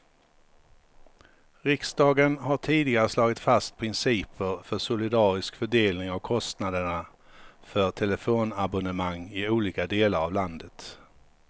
Riksdagen har tidigare slagit fast principer för solidarisk fördelning av kostnaderna för telefonabonnemang i olika delar av landet.